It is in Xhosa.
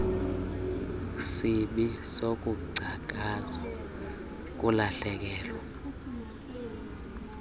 sibi sokungcakaza kukulahlekelwa